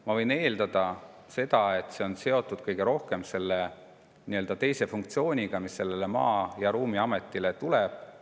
Ma võin eeldada, et see on seotud kõige rohkem selle nii-öelda teise funktsiooniga, mis Maa‑ ja Ruumiametile tuleb.